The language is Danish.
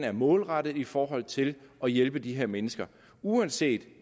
er målrettet i forhold til at hjælpe de her mennesker uanset